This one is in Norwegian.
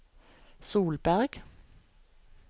Solberg